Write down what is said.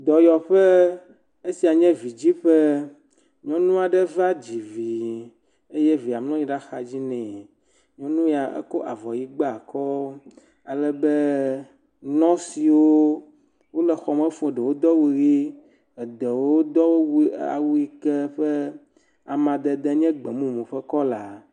Dɔyɔƒe, esia nye vidziƒe, nyɔnu aɖe va dzi vi eye evia mlɔ anyi ɖe axadzi nɛ, nyɔnu ya ekɔ avɔ ʋɛ̃ gba akɔ alebe nɔswo, wole xɔme fuu, eɖewo do awu ʋe, eɖewo do awu yike ƒe amadede nye gbemumu ƒe kɔla.